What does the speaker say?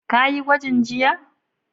Ka yi gwajin jiya?